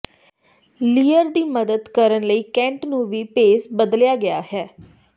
Lear ਦੀ ਮਦਦ ਕਰਨ ਲਈ ਕੈਂਟ ਨੂੰ ਵੀ ਭੇਸ ਬਦਲਿਆ ਗਿਆ ਹੈ